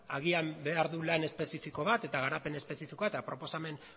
agian behar du lan espezifiko bat eta garapen espezifikoa eta proposamen